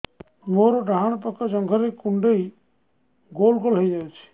ମୋର ଡାହାଣ ପାଖ ଜଙ୍ଘରେ କୁଣ୍ଡେଇ ଗୋଲ ଗୋଲ ହେଇଯାଉଛି